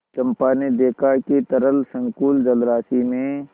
चंपा ने देखा कि तरल संकुल जलराशि में